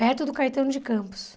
Perto do Caetano de Campos.